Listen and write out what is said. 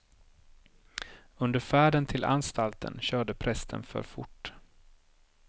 Under färden till anstalten körde prästen för fort.